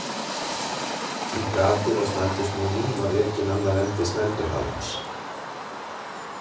Í gatið á snældusnúðnum var rekinn annar endi snælduhalans.